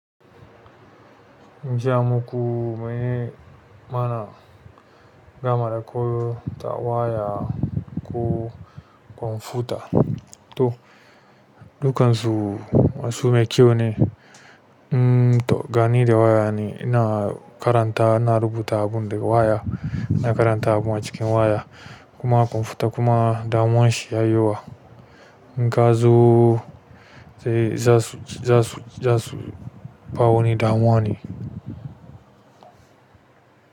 Jiya muku maye mana damar koyar da waya ko computer. To dukansu basira me kyau ne to, gani da waya ne, ina karanta, ina rubuta abun da waya, ina karanta abun a cikin waya kuma computer kuma damuwa shi ya yiwuwa. Ga zu sai za su, za su, za su ba wani damuwa ne.